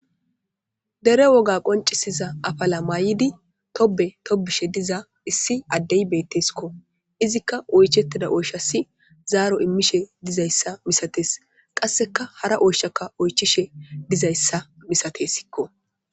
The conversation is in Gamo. Dere woga qonccissiza afala mayidi tobbe tobbishe diza issi addey beeththeskko; izikka oycheththida oyshassi zaaro immishe dizayssa misathes; qasseka hara oyshakka oychchishe dizayssa misatheesikko.